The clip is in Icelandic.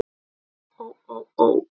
Ó ó ó.